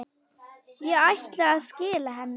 Ég ætlaði að skila henni.